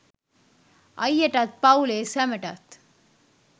අයියටත් පවුලේ සැමටත්